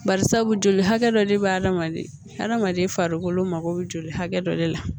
Bari sabu joli hakɛ dɔ de bɛ hadamaden hadamaden farikolo mako bɛ joli hakɛ dɔ de la